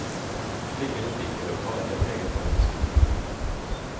Slike butikker og barer preget faktisk hele bybildet.